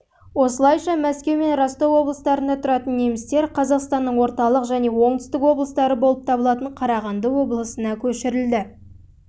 осылайша мәскеу мен ростов облыстарында тұратын немістер қазақстанның орталық және оңтүстік облыстары болып табылатын қарағанды облысына